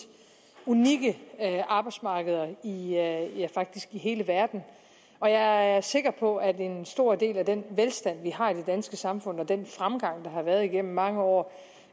unikke arbejdsmarkeder i hele verden og jeg er sikker på at en stor del af den velstand vi har i det danske samfund og den fremgang der har været igennem mange år